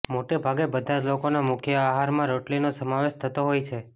મોટેભાગે બધા જ લોકો ના મુખ્ય આહાર મા રોટલી નો સમાવેશ થતો હોય છે